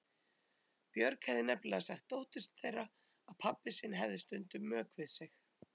Björg hefði nefnilega sagt dóttur þeirra að pabbi sinn hefði stundum mök við sig.